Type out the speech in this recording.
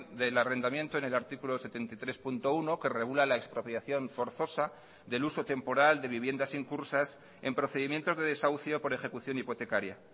del arrendamiento en el artículo setenta y tres punto uno que regula la expropiación forzosa del uso temporal de viviendas incursas en procedimientos de desahucio por ejecución hipotecaria